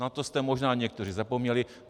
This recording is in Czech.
Na to jste možná někteří zapomněli.